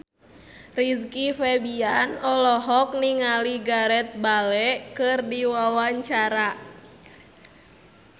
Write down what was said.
Rizky Febian olohok ningali Gareth Bale keur diwawancara